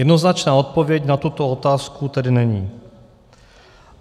Jednoznačná odpověď na tuto otázku tedy není.